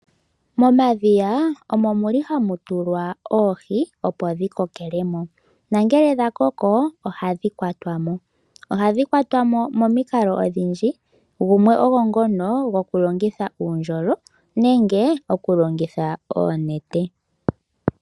Momadhiya omo muli hamu tulwa oohi, opo dhi kokele mo, nongele dha koko ohadhi kwatwa mo. Ohadhi kwatwa mo momikalo odhindji, gumwe ogo ngono goku longitha uundjolo nenge oku longitha oonete.